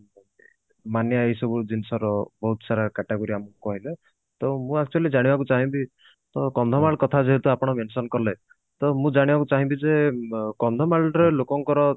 ମାନେ ଏଇ ସବୁ ଜିନିଷ ର ବହୁତ ସାରା category ଆମକୁ କହିଲେ ତ ମୁଁ actually ଜାଣିବାକୁ ଚାହିଁବି ତ କନ୍ଧମାଳ କଥା ଯେହେତୁ ଆପଣ mention କଲେ ତ ମୁଁ ଜାଣିବାକୁ ଚାହିଁ ବି ଯେ କନ୍ଧମାଳ ରେ ଲୋକଙ୍କର